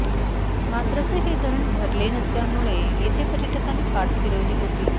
मात्र स हे धरण भरले नसल्यामुळे येथे पर्यटकांनी पाठ फिरवली होती